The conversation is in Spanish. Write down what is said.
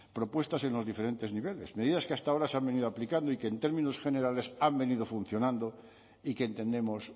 propuestas en los diferentes niveles medidas que hasta ahora se han venido aplicando y que en términos generales han venido funcionando y que entendemos